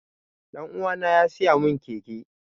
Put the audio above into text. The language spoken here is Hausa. Ɗan uwana ya siya mun keke